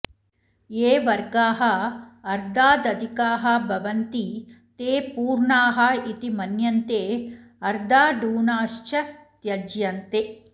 ये वर्गाः अर्द्धादधिकाः भवन्ति ते पूर्णा इति मन्यन्ते अर्धाढूनाश्च त्यज्यन्ते